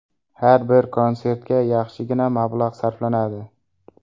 Har bir konsertga yaxshigina mablag‘ sarflanadi.